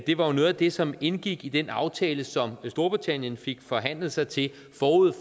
det var noget af det som indgik i den aftale som storbritannien fik forhandlet sig til forud